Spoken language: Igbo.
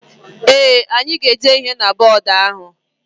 Ee, anyị ga-ede ihe na bọdụ ahụ.